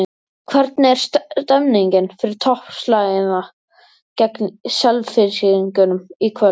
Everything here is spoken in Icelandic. Hvernig er stemningin fyrir toppslaginn gegn Selfyssingum í kvöld?